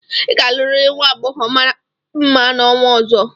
ị ga-alụrịrị nwa agbọghọ mara mma n'ọnwa ọzọ!